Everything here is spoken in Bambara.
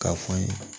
K'a fɔ n ye